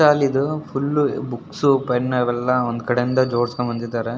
Book stall ಇದು full books pen ಎಲ್ಲ ಒಂದು ಕಡೆಯಿಂದ ಜೋಡಿಸಿಕೊಂಡು ಬಂದಿದ್ದಾರೆ.